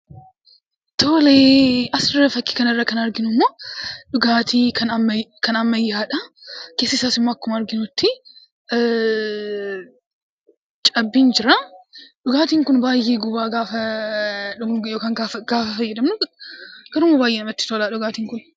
Tole. Asirra, fakkii kana irraa kan arginu immoo dhugaatii ammayyaadha. Keessa isaas immoo akkuma arginutti cabbiin jira. Dhugaatiin kun baay'ee guba; gaafa dhugnu yookaan gaafa fayyadamnu. Garuu baay'ee namatti tola dhugaatiin kun.